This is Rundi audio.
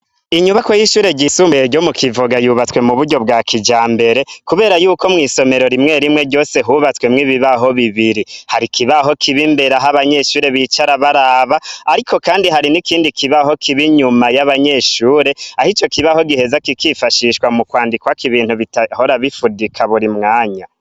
Inyubako y'ishure ryisumbuye ryo mu Kivoga yubatswe mu buryo bwa kijambere; kubera yuko mw' isomero rimwe rimwe ryose hubatswe mw'ibibaho bibiri. Hari ikibaho kiri imbere aho abanyeshure bicara baraba ariko kandi hari n'ikindi kibaho kiba inyuma y'abanyeshure aho ico kibaho giheza kikifashishwa mu kwandikwako ibintu bitahora bifudika buri mwanya.